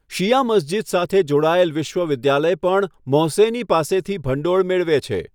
શિયા મસ્જિદ સાથે જોડાયેલ વિશ્વવિદ્યાલય પણ મોહસેની પાસેથી ભંડોળ મેળવે છે.